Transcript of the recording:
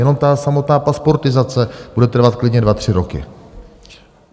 Jenom ta samotná pasportizace bude trvat klidně dva tři roky.